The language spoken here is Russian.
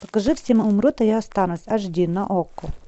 покажи все умрут а я останусь аш ди на окко